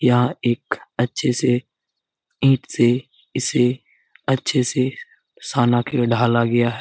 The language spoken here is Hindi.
यहाँ एक अच्छे से ईंट से इससे अच्छे से ढाला गया है ।